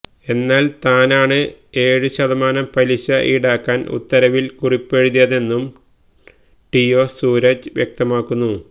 എന്നാല് താനാണ് ഏഴ് ശതമാനം പലിശ ഈടാക്കാന് ഉത്തരവില് കുറിപ്പെഴുതിയതെന്നും ടിഒ സൂരജ് വ്യക്തമാക്കുന്നു